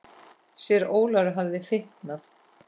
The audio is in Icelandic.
Síra Ólafur hafði fitnað.